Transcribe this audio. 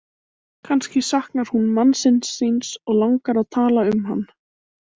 Kannski saknar hún mannsins síns og langar að tala um hann.